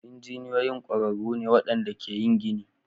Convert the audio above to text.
Injiniyoyin ƙwararru ne waɗanda ke yin gini.